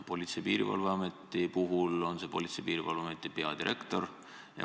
Politsei- ja Piirivalveametis on see Politsei- ja Piirivalveameti peadirektor.